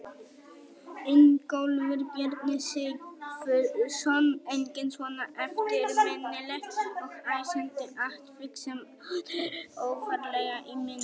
Ingólfur Bjarni Sigfússon: Engin svona eftirminnileg og æsandi atvik sem að eru ofarlega í minni?